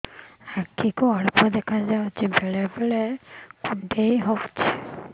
ଆଖି କୁ ଅଳ୍ପ ଦେଖା ଯାଉଛି ବେଳେ ବେଳେ କୁଣ୍ଡାଇ ହଉଛି